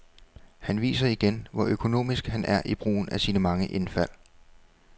Han viser igen, hvor økonomisk han er i brugen af sine mange indfald.